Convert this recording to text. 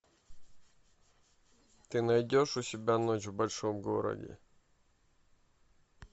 ты найдешь у себя ночь в большом городе